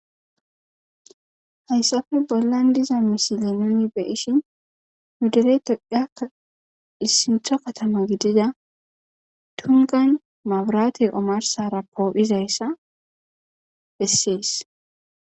hayssappe bollan diza misile nuni be7ishin nu dere tophiyakka issintho katama gidida tungan mabiraate omarsara poo7izayssa hessees.